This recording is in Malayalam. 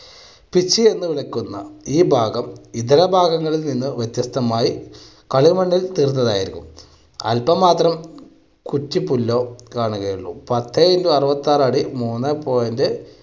pitch എന്ന് വിളിക്കുന്ന ഈ ഭാഗം ഇതര ഭാഗങ്ങൾക്ക് മുന്നേ വ്യത്യസ്തമായി കളിമണ്ണിൽ തീർത്തതായിരിക്കും. അല്പം മാത്രം പത്തെ into അറുപത്താറ് അടി മൂന്നെ point